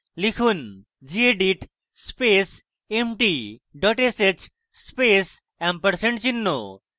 লিখুন: gedit space empty dot sh space ampersand চিহ্ন